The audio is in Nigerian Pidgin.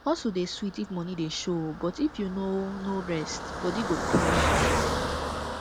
hustle dey sweet if money dey show but if you no no rest body go tell you